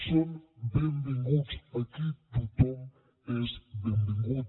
són benvinguts aquí tothom és benvingut